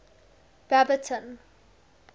baberton